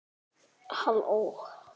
Ég meina hví ekki?